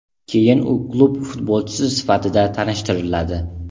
Keyin u klub futbolchisi sifatida tanishtiriladi.